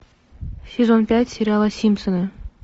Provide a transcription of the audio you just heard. сезон пять сериала симпсоны